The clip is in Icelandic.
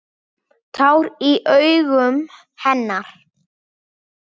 Tár í augum hennar.